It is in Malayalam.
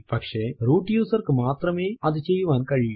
പക്ഷെ റൂട്ട് user ക്ക് മാത്രമേ അതു ചെയ്യുവാൻ കഴിയൂ